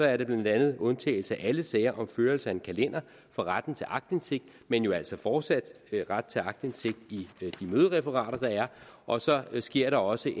er blandt andet undtagelse af alle sager om førelse af en kalender fra retten til aktindsigt men jo altså fortsat ret til aktindsigt i de mødereferater der er og så sker der også